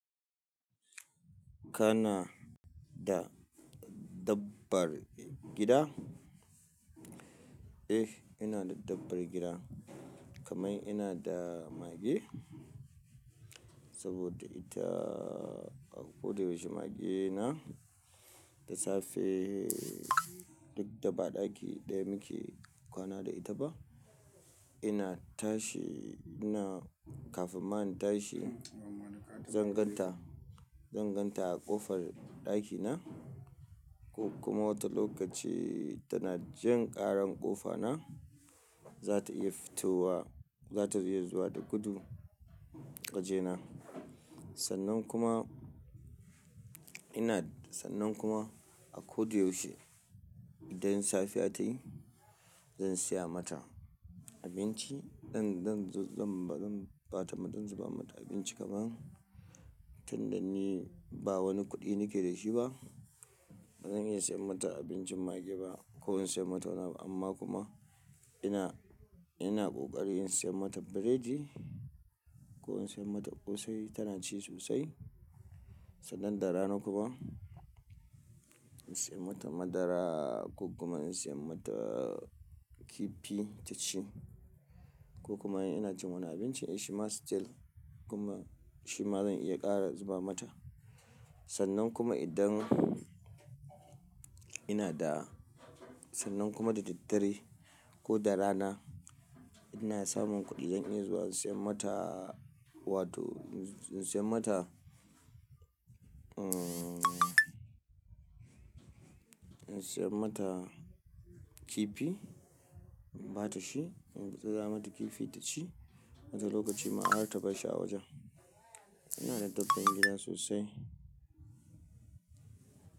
Kana da dabbar gida? Eh, ina da dabbar gida kamar ina da mage saboda ita a ko da yaushe magena da safe duk da ba ɗaki ɗaya muke kwana da ita ba. Ina tashi ina kafin ma in tashi, zan gan ta, zan gan ta a ƙofar ɗakina ko kuma wata lokaci tana jin ƙaran ƙofana, za ta iya fitowa, za ta iya zuwa da gudu ƙajena. Sannan kuma ina sannan kuma a ko da yaushe idan safiya ta yi zan saya mata abinci. Zan, zan, zan ba, zan ba ta mada, zan zuba mata abinci kaman tun da ni ba wani kuɗi nake da shi ba. Ba zan iya siyan mata abincin mage ba ko in saya mata wani abu amma kuma ina, ina ƙoƙari in saya mata biredi ko in saya mata ƙosai tana ci sosai. Sannan da rana kuma in saya mata madara ko kuma in saya mata kifi taci ko kuma ina cin wani abinci shima still kuma shi ma zan iya ƙara zuba mata. Sannan kuma idan ina da, sannan kuma da daddare ko da rana ina samun kuɗi zan iya zuwa in saya mata wato in saya mata, uhn, in saya mata kifi, in ba ta shi, gutsura mata kifi taci wata lokaci ma har ta barshi a wajen. Ina da dabar gida sosai.